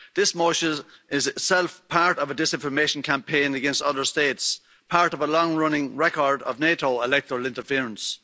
This motion is itself part of a disinformation campaign against other states, part of a long running record of NATO electoral interference.